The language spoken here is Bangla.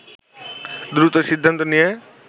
দ্রুত সিদ্ধান্ত নিয়ে